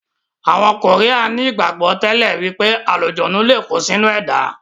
Àwọn koría ní ìgbàgbọ́ tẹ́lẹ̀ wípé àlùjọ̀nnú lé kó sí inú ẹ̀dá.